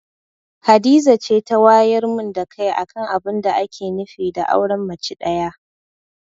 Hadiza ce ta wayar min da kai akan abinda ake nufi da auren mace ɗaya.